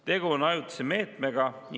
Tegu on ajutise meetmega.